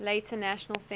later national centre